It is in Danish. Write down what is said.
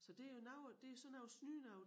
Så det jo noget det sådan noget snydenoget